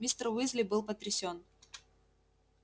мистер уизли был потрясен